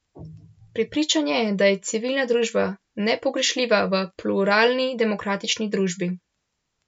Prepričan je, da je civilna družba nepogrešljiva v pluralni demokratični družbi.